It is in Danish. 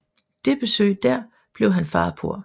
Det besøg dér blev han far på